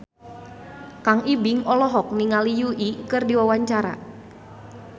Kang Ibing olohok ningali Yui keur diwawancara